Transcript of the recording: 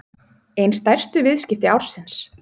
Ein stærstu viðskipti ársins